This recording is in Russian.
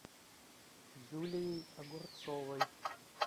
юлией огурцовой